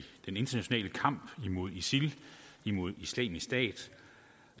den internationale kamp imod isil imod islamisk stat